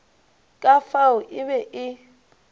ka fao e be e